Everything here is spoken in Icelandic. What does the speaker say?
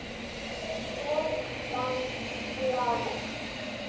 Kjartan dáinn!